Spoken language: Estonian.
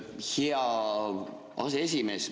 Jaa, hea aseesimees!